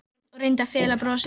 Örn og reyndi að fela brosið.